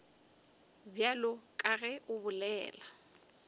bjalo ka ge o bolela